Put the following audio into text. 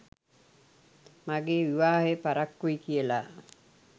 මගේ විවාහය පරක්කුයි කියලා.